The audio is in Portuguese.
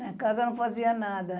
Na casa não fazia nada.